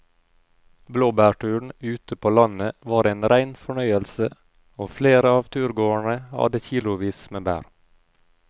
Blåbærturen ute på landet var en rein fornøyelse og flere av turgåerene hadde kilosvis med bær.